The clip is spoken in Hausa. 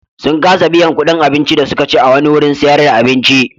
Sun kasa biyan kuɗin abincin da suka ci a wani wurin sayar da abinci.